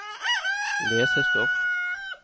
lesestoff